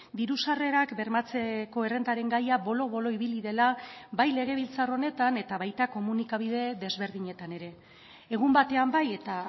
diru sarrerak bermatzeko errentaren gaia bolo bolo ibili dela bai legebiltzar honetan eta baita komunikabide desberdinetan ere egun batean bai eta